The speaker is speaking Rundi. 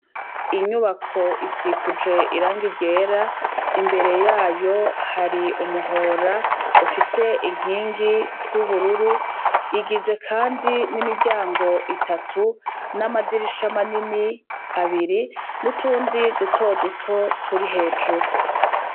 Inyubako isikuje iranga ryera imbere yayo hari umuhora ufise inkingi z'ubururu igizwe, kandi n'imiryango itatu n'amadirisha manini abiri n'utundi dutoduto turi hejuru.